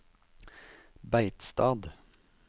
Beitstad